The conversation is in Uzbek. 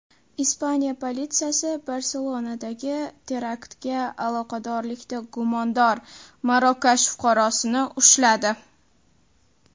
Ispaniya politsiyasi Barselonadagi teraktga aloqadorlikda gumondor Marokash fuqarosini ushladi.